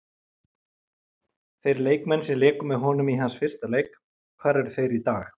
Þeir leikmenn sem léku með honum í hans fyrsta leik, hvar eru þeir í dag?